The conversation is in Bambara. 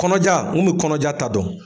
Kɔnɔja n kun bi kɔnɔja ta dɔn.